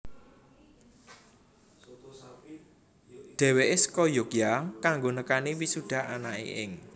Dheweke saka Yogya kanggo nekani wisuda anake ing